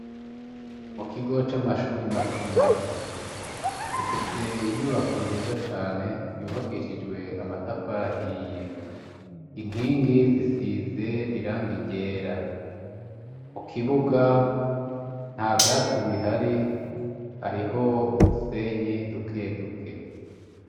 Mu kigo c'amashure matomato. Gifise inyubako nziza cane, yubakishijwe amatafari ahiye. Inkingi zisize irangi ryera. Mu kibuga, nta vyatsi bihari, hariho udusenyi dukeduke.